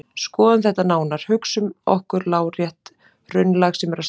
Skoðum þetta nánar: Hugsum okkur lárétt hraunlag sem er að storkna.